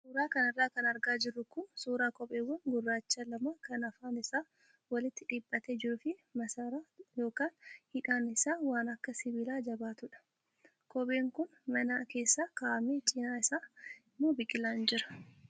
Suuraa kanarra kan argaa jirru kun suuraa kopheewwan gurraacha lamaa kan afaan isaa walitti dhiphatee jiruu fi maasaraa yookaan hidhaan isaa waan akka sibiilaa jabaatudha. Kopheen kun mana keessa kaa'amee cinaa isaa immoo biqilaan jira.